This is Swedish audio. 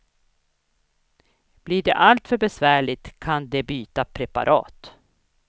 Blir det allt för besvärligt kan de byta preparat.